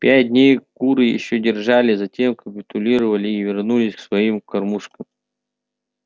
пять дней куры ещё держались затем капитулировали и вернулись к своим кормушкам